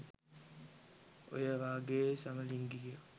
ඔය වගේ සමලිංගිකයෝ